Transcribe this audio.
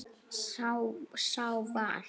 Sá var